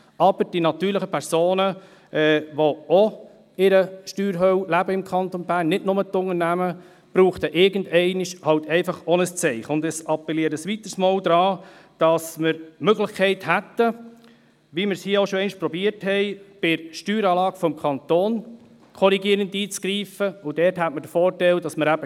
Aber die natürlichen Personen, die im Kanton Bern auch in einer Steuerhölle leben, nicht nur die Unternehmen, bräuchten irgendeinmal halt auch ein Zeichen, und ich appelliere ein weiteres Mal daran, dass wir die Möglichkeit hätten, bei der Steueranlage des Kantons korrigierend einzugreifen, wie wir es hier auch schon einmal versucht haben.